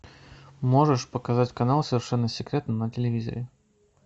можешь показать канал совершенно секретно на телевизоре